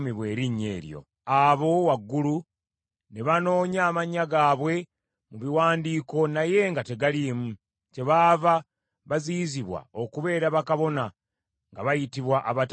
Abo waggulu ne banoonya amannya gaabwe mu biwandiiko naye nga tegaliimu, kyebaava baziyizibwa okubeera bakabona nga bayitibwa abatali balongoofu.